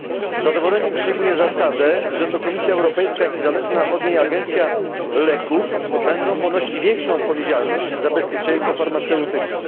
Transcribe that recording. Z zadowoleniem przyjmuję zasadę, że to Komisja Europejska i zależna od niej Agencja Leków będą ponosić większą odpowiedzialność za bezpieczeństwo farmaceutyków.